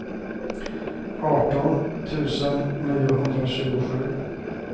arton tusen niohundratjugosju